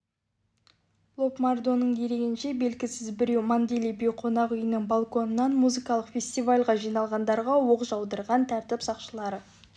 лобмардоның дерегінше белгісіз біреу манделей бей қонақүйінің балконынан музыкалық фестивальға жиналғандарға оқ жаудырған тәртіп сақшылары